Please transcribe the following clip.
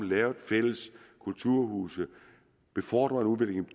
lavet fælles kulturhuse befordret udviklingen